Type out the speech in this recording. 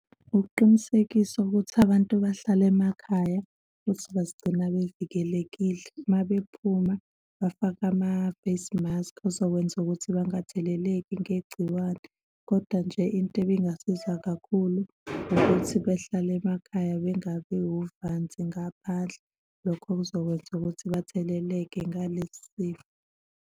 Ukuqinisekiswa ukuthi abantu bahlale emakhaya futhi bazigcina bevikelekile, uma bephuma bafake ama-face mask, azokwenza ukuthi bangatheleleki ngegciwane. Kodwa nje into ebingasiza kakhulu ukuthi bahlale emakhaya bengabi wuvanzi ngaphandle, lokho kuzokwenza ukuthi batheleleke ngalesifo.